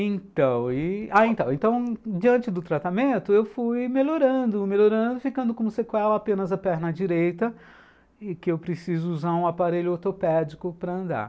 Então e, diante do tratamento, eu fui melhorando, melhorando, ficando com um sequela apenas a perna direita e que eu preciso usar um aparelho ortopédico para andar.